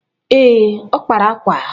Ee ọ kpara akwa?